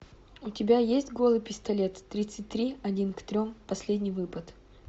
у тебя есть голый пистолет тридцать три один к трем последний выпад